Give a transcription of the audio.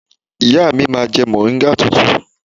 Ìyá mi máa ń jẹ mọ̀ríngà tútù.